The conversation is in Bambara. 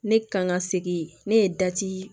Ne kan ka segin ne ye dati